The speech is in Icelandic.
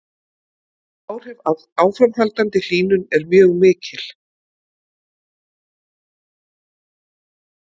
Áhrif af áframhaldandi hlýnun eru mjög mikil.